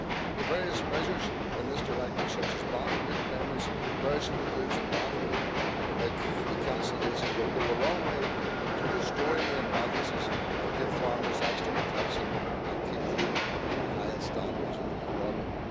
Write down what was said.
The various measures in this directive, such as banning late payments for perishable goods and banning late cancellations, will go a long way to restoring the imbalances, give farmers extra protection and keep food at the highest standards and quality.